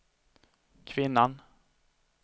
kvinnan